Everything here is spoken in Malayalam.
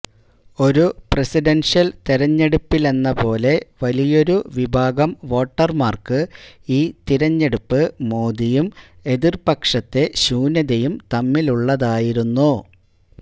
ഒരു പ്രസിഡന്ഷ്യല് തിരഞ്ഞെടുപ്പിലെന്ന പോലെ വലിയൊരു വിഭാഗം വോട്ടര്മാര്ക്ക് ഈ തിരഞ്ഞെടുപ്പ് മോദിയും എതിര്പക്ഷത്തെ ശൂന്യതയും തമ്മിലുള്ളതായിരുന്നു